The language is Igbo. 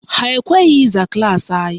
Ha ekweghị ịza klaasị anyị